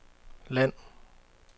land